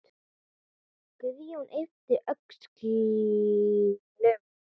Guðjón yppti öxlum.